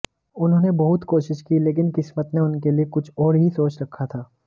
उन्होंने बहुत कोशिश की लेकिन किस्मत ने उनके लिए कुछ और ही सोच रखा था